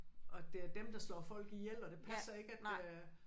Og at det er dem der slår folk ihjel og det passer ikke at øh